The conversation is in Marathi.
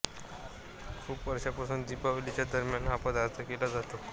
खूप वर्षापासून दीपावलीच्या दरम्यान हा पदार्थ केला जातो